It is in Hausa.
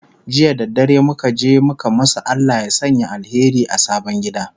jiya da dare muka je muka masu Allah ya Sanya alheri a sabon gida